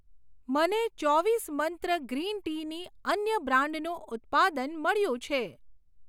મને ચોવીસ મંત્ર ગ્રીન ટીની અન્ય બ્રાન્ડનું ઉત્પાદન મળ્યું છે.